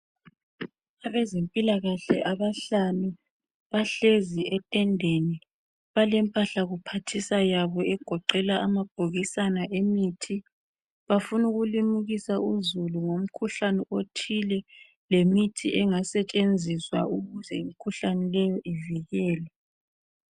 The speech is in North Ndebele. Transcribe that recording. Abezempilakahle abahlanu , bahlezi etendeni balempahla kuphathisa yabo egoqela amabhokisana emithi , bafuna ukulimukisa uzulu ngomkhuhlane othile lemithi engasetshenziswa ukuze imkhuhlane leyo ivikelwe